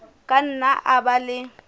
ka nna a ba le